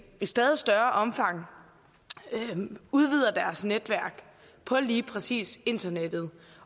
i stadig større omfang udvider deres netværk på lige præcis internettet